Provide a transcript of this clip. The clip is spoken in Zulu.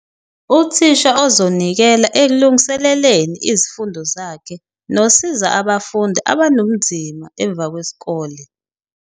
Uthisha ozonikela ekulungiseleleni izifundo zakhe nosiza abafundi abanobunzima emva kwesikole.